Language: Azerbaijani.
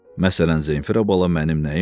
Məsələn, Zeyfira bala mənim nəyimdir?